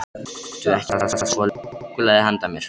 Áttu ekki bara svolítið súkkulaði handa mér?